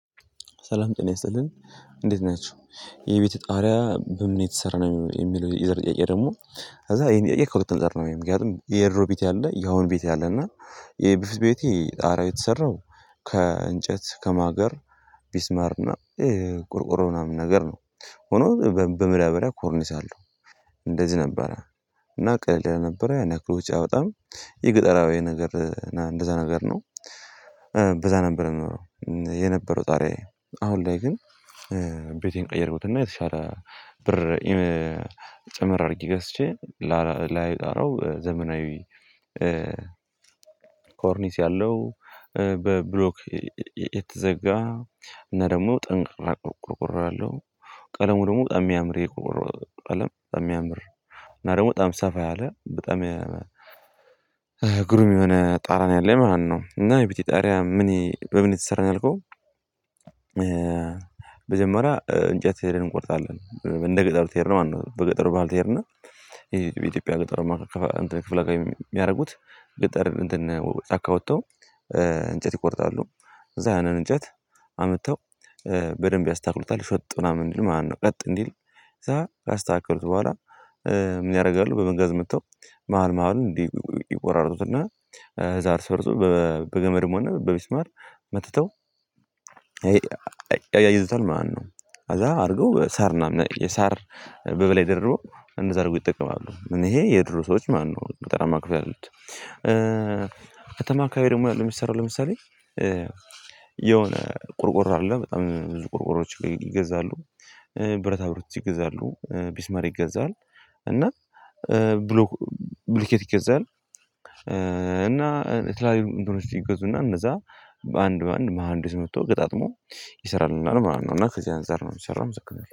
ሰላም ጤና ይስጥልኝ እንዴት ናችሁ የቤተ ጣሪያ በምን የተሰራ ነው የሚለው የዘር ጥያቄ ደግሞ? ከዛ የእየክብር ተንጠር ነው የምግብህ የድሮ ቤት ያለ የአሁን ቤት ያለ እና የበፌትት ቤቴ ጣርያ የተሰራው ከእንጨት ከማገር ቢስማርና ቁርቁሮ ምናምን ነገር ነው። ሆኖ በማዳብሪያ ኮርኒስ አለው እንደዚህ ነበረ። እና ቀድለህ ነበረ ያን ያክል ውጪ አውጣም ይህ ገጠራዊ ነገር እንደዛ ነገር ነው። በዛ ነበር የኖረው የነበረው ጣርያዬ። አሁን ላይ ግን ብርቴን ቀየርኩትና የተሻለ ብር ጭምር አድርጊ ገስቼ ላይ ጣረው ዘመናዊ ኮርኒስ ያለው በብሎክ የተዘጋ እና ደግሞ ጠንካራ ቆርቆሮ ያለው ቀለሙ ደግሞ በጣም የሚያምር የቆረበ ቀለም በጣም የሚያምር እና ደግሞ በጣም ሰፋ ያለ በጣም ግሩም የሆነ ጣራ ነው ያለኝ ማለት ነው። እና የቤቴ ጣሪያ ምን በምን የተሰራን ያልከው? መጀመሪያ እንጨት ሄደን እንቆርጣለን እንደ ገጠሩ ትሄድ ነው ማለት ነው። በገጠሩ ባል ትሄድ ነው። ይሄ በኢትዮጵያ ገጠር ክፍለ ገጠር የሚያደርጉት ገጠር እንትን ጫካ ወጥተው እንጨት ይቆርጣሉ። እዛ ያንን እንጨት አምጥተው በደንብ ያስተካክሉታል። ሽወጡና ምንድነው ማነው ቀጥ እንዲል እዛ ያካስተካከሉት በኋላ ምን ያደርጋሉ? በመንገድ መጥተው መሃል መሃል እንዲህ ይቆራርጡትና እዛር ስፈርሱ በገመድ መሆን በቢስማር መትተው ይዘታል። ማነው ከዛ አድርገው ሳር እናም እሳር በበላይ ድሮ እንደዛ አድርጎ ይጠቀማሉ። እኔ ይሄ የድሮ ሰዎች ማነው ጠራማ ክፍያ አለው። ከተማ ካይ ደግሞ ያሉ የሚሰራው ለምሳሌ የሆነ ቆርቆሮ አይደለም በጣም ብዙ ቆሮቆሮዎች ላይ ይገዛሉ። ብረታ ብሮት ይገዛሉ ቢስማር ይገዛል። እና ብሎ ብልኬት ይገዛል። እና የትላልቅ እንትኖች ይገዙና እነዛ በአንድ በአንድ መሃንዶች መጥቶ ቀጣጥሞ ይሰራሉና ነው ማለት ነው። እና ከዚህ አንፃር ነው የሚሰራው መሰለኝ